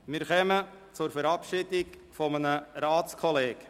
Wir kommen zur Verabschiedung eines Ratskollegen.